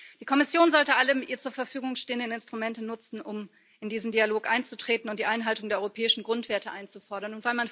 Die Kommission sollte alle ihr zur Verfügung stehenden Instrumente nutzen, um in diesen Dialog einzutreten und die Einhaltung der europäischen Grundwerte einzufordern.